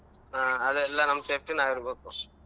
ಹಾ ಅದೆಲ್ಲಾ ನಮ್ safety ನಾವ್ ಇರ್ಬೇಕು.